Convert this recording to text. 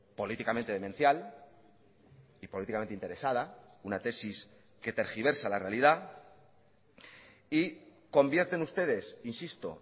políticamente demencial y políticamente interesada una tesis que tergiversa la realidad y convierten ustedes insisto